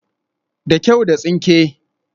Da kyau, da tsinke